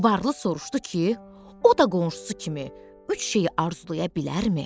Varlı soruşdu ki, o da qonşusu kimi üç şeyi arzulaya bilərmi?